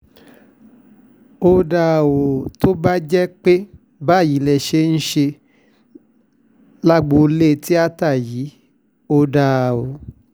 ó dáa ó tó bá jẹ́ pé báyìí lẹ ṣe ń ṣe lágboolé tíata yìí ò dáa o